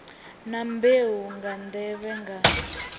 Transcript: na mbeu nga nḓevhe nga